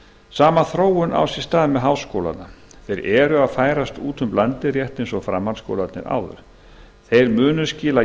sama þróun á sér stað með háskólana þeir eru að færast út um landið rétt eins og framhaldsskólarnir áður þeir munu skila